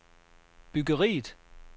byggeriet